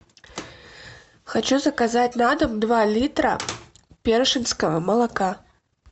хочу заказать на дом два литра першинского молока